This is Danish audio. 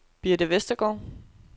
Birthe Westergaard